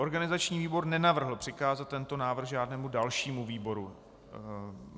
Organizační výbor nenavrhl přikázat tento návrh žádnému dalšímu výboru.